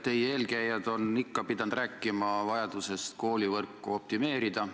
Teie eelkäijad on ikka pidanud rääkima vajadusest koolivõrku optimeerida.